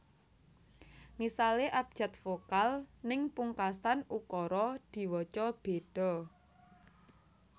Misale abjad vokal ning pungkasan ukara diwaca bedha